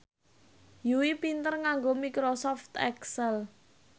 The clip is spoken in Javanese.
Yui pinter nganggo microsoft excel